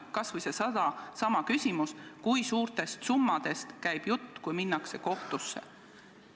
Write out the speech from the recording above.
Kas või seesama küsimus, kui suurtest summadest käib jutt, kui minnakse kohtusse.